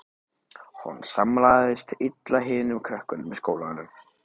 Hún samlagaðist illa hinum krökkunum í skólanum.